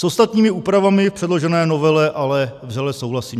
S ostatními úpravami v předložené novele ale vřele souhlasím.